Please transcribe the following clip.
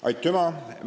Aitüma!